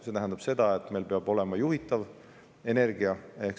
See tähendab seda, et meil peab olema juhitav energia.